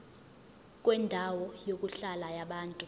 kwendawo yokuhlala yabantu